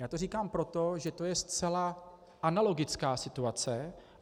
Já to říkám proto, že to je zcela analogická situace.